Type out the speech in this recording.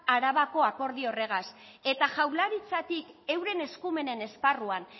arabako akordio horregaz eta jaurlaritzatik euren eskumenen esparruan